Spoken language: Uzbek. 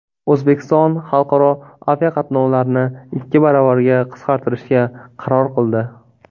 O‘zbekiston xalqaro aviaqatnovlarni ikki baravarga qisqartirishga qaror qildi.